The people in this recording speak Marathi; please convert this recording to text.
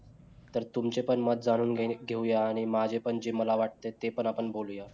तर तुमचे पण मत जाणून घेणे, घेऊया आणि माझे पण जे मला वाटते ते पण आपण बोलूया